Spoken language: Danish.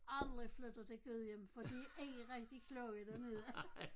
Aldrig flytter til Gudhjem for de er ikke rigtig kloge dernede